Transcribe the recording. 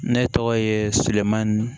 Ne tɔgɔ ye silamɛ